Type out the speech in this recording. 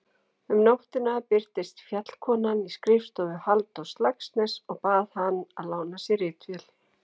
Um nóttina birtist Fjallkonan í skrifstofu Halldórs Laxness og bað hann að lána sér ritvél.